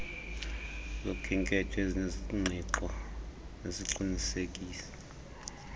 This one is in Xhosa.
zokhenketho ezinengqiqo neziqinisekisa